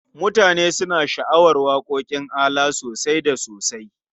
Mutane suna sha'awar waƙoƙin ALA sosai da sosai.